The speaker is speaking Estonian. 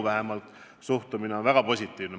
Vähemalt minu suhtumine on väga positiivne.